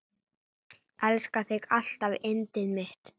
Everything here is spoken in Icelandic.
Elska þig alltaf yndið mitt.